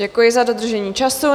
Děkuji za dodržení času.